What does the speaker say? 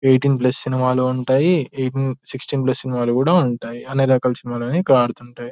Eighteen plus సినిమాలు ఉంటాయి.సిక్సటీన్సి ప్లస్లు సినిమాలు కూడా ఉంటాయి. అన్ని రకాల సినిమాలు కూడా ఆడుతూ ఉంటాయి.